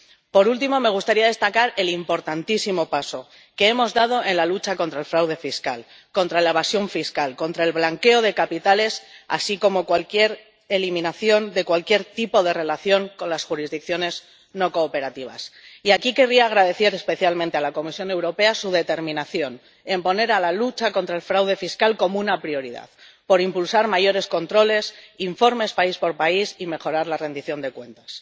Por último, me gustaría destacar el importantísimo paso que hemos dado en la lucha contra el fraude fiscal, contra la evasión fiscal, contra el blanqueo de capitales, así como la eliminación de cualquier tipo de relación con las jurisdicciones no cooperativas. Y aquí querría agradecer especialmente a la Comisión Europea su determinación en poner a la lucha contra el fraude fiscal como una prioridad, por impulsar mayores controles, informes país por país y mejorar la rendición de cuentas.